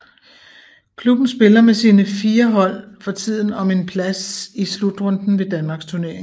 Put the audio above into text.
Klubben spiller med sine fire hold for tiden om en plads i slutrunden ved Danmarksturneringen